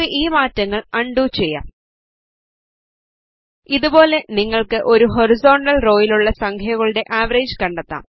നമുക്ക് ഈ മാറ്റങ്ങൾ അൺഡു ചെയ്യാം ഇതുപോലെ നിങ്ങൾക്ക് ഒരു ഹോറിസോണ്ടൽ റോയിലുള്ള സംഖ്യകളുടെ ആവറേജ് കണ്ടെത്താം